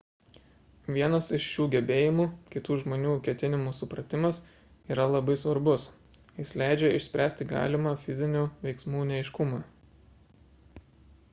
vienas iš šių gebėjimų – kitų žmonių ketinimų supratimas – yra labai svarbus jis leidžia išspręsti galimą fizinių veiksmų neaiškumą